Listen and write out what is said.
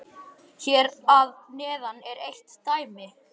Hér að neðan er eitt dæmi: